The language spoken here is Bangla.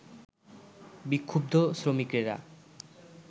বিক্ষুব্ধ শ্রমিকেরা